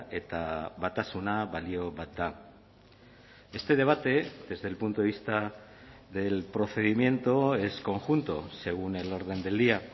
eta batasuna balio bat da este debate desde el punto de vista del procedimiento es conjunto según el orden del día